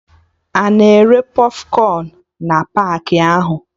Ana ere pọfkọn na paakị ahụ?